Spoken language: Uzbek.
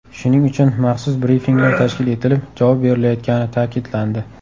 Shuning uchun maxsus brifinglar tashkil etilib, javob berilayotgani ta’kidlandi.